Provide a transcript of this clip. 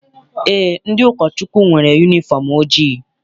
Eé, ndị ụkọchukwu nwere yunifọm ojii.